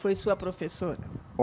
Foi sua professora?